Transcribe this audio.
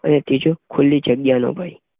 અને ત્રીજું ખુલી જગ્યાનો ભય